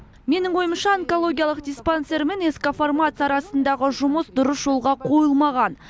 менің ойымша онкологиялық диспансер мен ск фармация арасындағы жұмыс дұрыс жолға қойылмаған